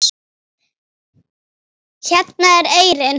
Hérna er eyrin.